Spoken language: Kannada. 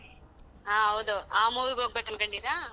ಹ ಹೌದು, ಆ movie ಗ್ ಹೋಗ್ಬೇಕು ಅನ್ಕೊಂಡಿರಾ?